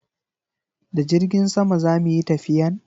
Da jirgin sama zamu yi tafiyan?